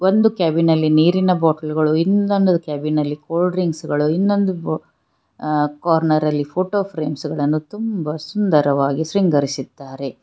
ಒಂದು ಕ್ಯಾಬಿನ್ ನಲ್ಲಿ ನೀರಿನ ಬಾಟಲ್ ಗಳು ಇನ್ನೊಂದು ಕ್ಯಾಬಿನ್ನಲ್ಲಿ ಕೂಲ್ ಡ್ರಿಂಕ್ಸ್ ಗಳು ಇನ್ನೊಂದು ಕಾರ್ನರ್ ನಲ್ಲಿ ಫೋಟೋ ಫ್ರೇಮ್ಸ್ ಗಳನ್ನು ತುಂಬ ಸುಂದರವಾಗಿ ಶ್ರಿಂಗರಿಸಿದ್ದಾರೆ.